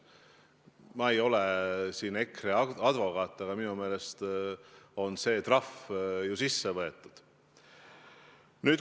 Ma ei ole EKRE advokaat, aga minu meelest on see trahv ju sisse nõutud.